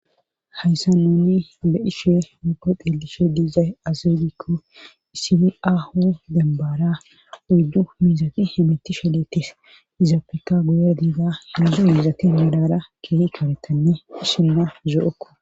hayssa nouni be ishe uko qillishe diizay azegikko isi ahu dembaara uyddu mizaki himitishe leettis izaopfekka guyer diida miizo miizaki milara kee chorettanne hishenna zo7okko